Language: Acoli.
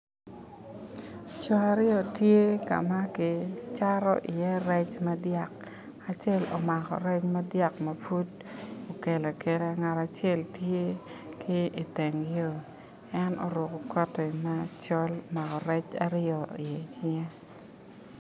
Cing aryo tye kama kicato i ye rec madiyak acel omako rec madyak ma pud okelo akela ngat acel tye ki iteng yo en oruko kooti macol ma omako rec aryo ni i cinge.